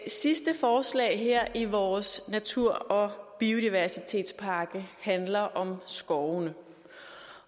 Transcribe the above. sidste forslag her i vores natur og biodiversitetspakke handler om skovene